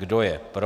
Kdo je pro?